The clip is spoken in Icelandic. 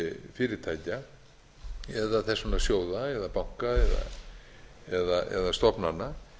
fyrirtækja eða þess vegna sjóða eða banka eða stofnana